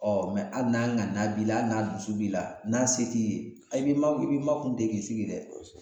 Ɔ mɛ ali n'a ŋaniya b'i la ali n'a dusu b'i la n'a se t'i ye e b'e makun e b'e makun ten k'i sigi dɛ